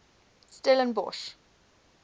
stellenbosch